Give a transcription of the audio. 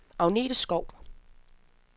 Agnete Skou